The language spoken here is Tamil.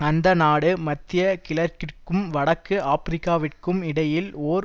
அந்த நாடு மத்திய கிழக்கிற்கும் வடக்கு ஆபிரிக்காவிற்கும் இடையில் ஓர்